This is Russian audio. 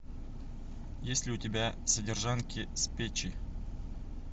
есть ли у тебя содержанки с печи